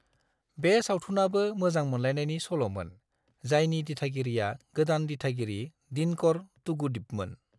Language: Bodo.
बे सावथुनाबो मोजां मोनलायनायनि सल'मोन, जायनि दिथागिरिआ गोदान दिथागिरि दिनकर तूगुदीपमोन।